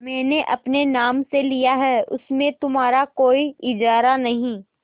मैंने अपने नाम से लिया है उसमें तुम्हारा कोई इजारा नहीं